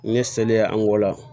N ye selile an ko la